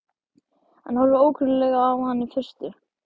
Hann horfir ókunnuglega á hann í fyrstu.